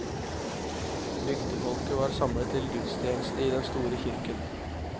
Bygdefolket var samlet til gudstjeneste i den store kirken.